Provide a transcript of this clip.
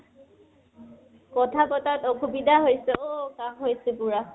কথা পতাত আসুবিধা হৈছে অ? কাহঁ হৈছে পুৰা।